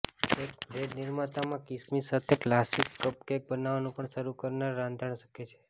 એક બ્રેડ નિર્માતામાં કિસમિસ સાથે ક્લાસિક કપકેક બનાવવું પણ શરૂ કરનાર રાંધણ શકે છે